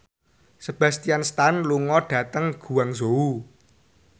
Sebastian Stan lunga dhateng Guangzhou